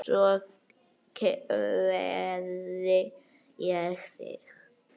Svo kveð ég þig.